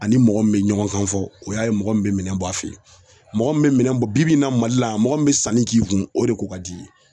Ani mɔgɔ min bɛ ɲɔgɔn kan fɔ o y'a ye mɔgɔ min bɛ minɛn bɔ a fɛ yen mɔgɔ min bɛ minɛn bɔ bi-bi in na Mali la yan mɔgɔ min bɛ sanni k'i kun o de ko ka di i ye